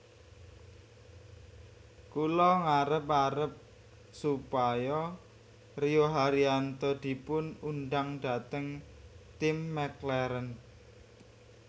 Kula ngarep arep supaya Rio Haryanto dipun undang dhateng tim McLaren